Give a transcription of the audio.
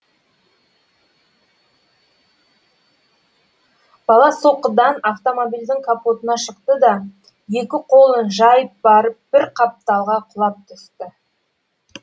бала соққыдан автомобильдің капотына шықты да екі қолын жайып барып бір қапталға құлап түсті